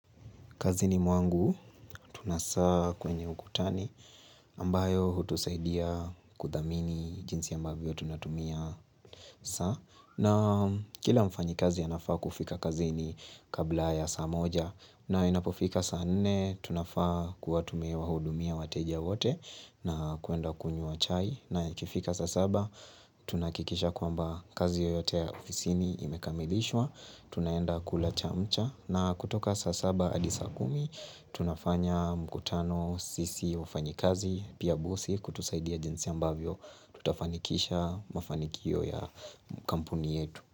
Kazini mwangu, tuna saa kwenye ukutani, ambayo hutusaidia kuthamini jinsi ambavyo tunatumia saa. Na kila mfanyikazi anafaa kufika kazini kabla ya saa moja. Na inapofika saa nne, tunafaa kuwatumia wahudumia wateja wote na kuenda kunywa chai. Na ikifika saa saba, tunahakikisha kwamba kazi yoyote ya ofisini imekamilishwa. Tunaenda kula chamcha na kutoka saa saba hadi saa kumi tunafanya mkutano sisi wafanyikazi pia bosi kutusaidia jinsi ambavyo tutafanikisha mafanikio ya kampuni yetu.